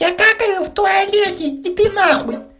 я какаю в туалете иди на хуй